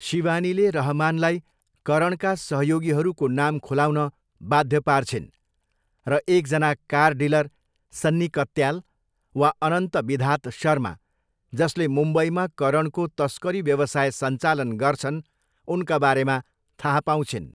शिवानीले रहमानलाई करणका सहयोगीहरूको नाम खुलाउन बाध्य पार्छिन् र एकजना कार डिलर सन्नी कत्याल वा अनन्त विधात शर्मा, जसले मुम्बईमा करणको तस्करी व्यवसाय सञ्चालन गर्छन्, उनका बारेमा थाहा पाउँछिन्।